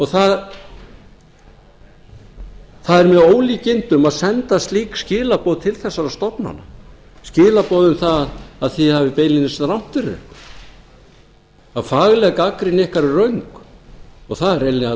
það er með ólíkindum að senda slík skilaboð til þessara stofnana skilaboð um það að þið hafið beinlínis rangt fyrir ykkur að fagleg gagnrýni ykkar er röng það er hreinlega